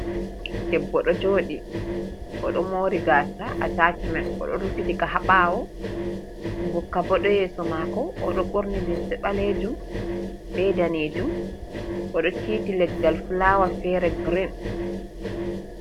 Debbo ɗo jodi odo mori gasa a tachimen odo rufitika ha bawo gokka ɓo ɗo yeso mako oɗo borni limse balejum be danejum oɗo titi leggal fulawa fere girin.